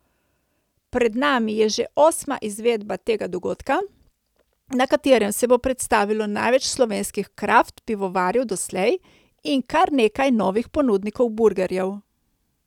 Pred nami je že osma izvedba tega dogodka, na katerem se bo predstavilo največ slovenskih kraft pivovarjev doslej in kar nekaj novih ponudnikov burgerjev.